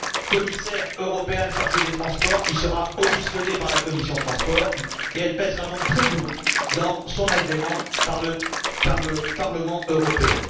commissaire européen chargé des transports, qui sera auditionné par la commission transports, et elle pèsera donc très lourd dans son agrément par le Parlement européen.